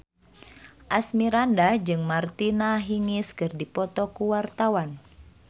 Asmirandah jeung Martina Hingis keur dipoto ku wartawan